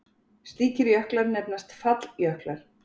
Slíkir jöklar nefnast falljöklar.